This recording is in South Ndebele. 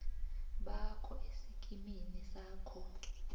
bakho esikimini sakho